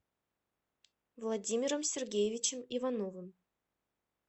владимиром сергеевичем ивановым